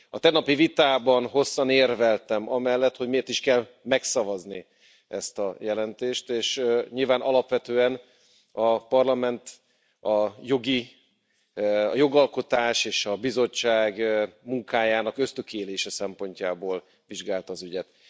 A tegnapi vitában hosszan érveltem amellett, hogy miért is kell megszavazni ezt a jelentést, és nyilván alapvetően a Parlament a jogalkotás és a Bizottság munkájának ösztökélése szempontjából vizsgálta az ügyet.